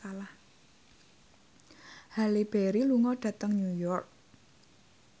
Halle Berry lunga dhateng New York